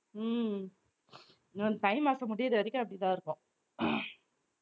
உம் இன்னும் தை மாசம் முடியற வரைக்கும் அப்படித்தான் இருக்கும்